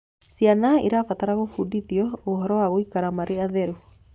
Ciana irabatara gubundithio ũhoro wa guikara mari atheru